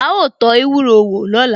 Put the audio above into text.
Áá tó ewúro wò lóla